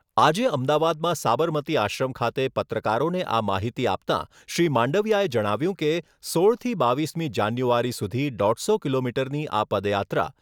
આજે અમદાવાદમાં સાબરમતી આશ્રમ ખાતે પત્રકારોને આ માહિતી આપતાં શ્રી માંડવિયાએ જણાવ્યુંં કે, સોળથી બાવીસમી જાન્યુઆરી સુધી દોઢસો કિલોમીટરની આ